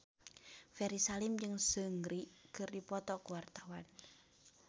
Ferry Salim jeung Seungri keur dipoto ku wartawan